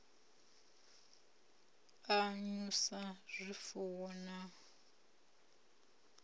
a u nwisa zwifuwo na